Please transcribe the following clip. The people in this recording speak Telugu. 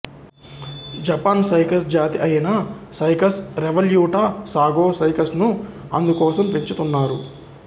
జపాన్ సైకస్ జాతి అయిన సైకస్ రెవల్యూటా సాగో సైకస్ను అందంకోసం పెంచుతున్నారు